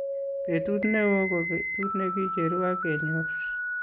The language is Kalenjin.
Betut ne oo ko betut ne kicheruu ak kenyor.